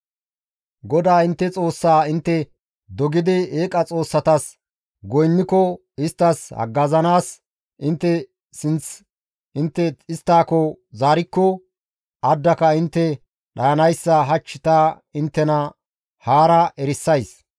GODAA intte Xoossaa intte dogidi eeqa xoossatas goynniko, isttas haggazanaas intte sinth intte isttako zaarikko, addaka intte dhayanayssa hach ta inttena haara erisays.